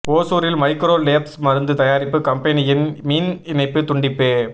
ஒசூரில் micro labs மருந்து தயாரிப்பு கம்பெனியின் மின் இணைப்பு துண்டிப்பு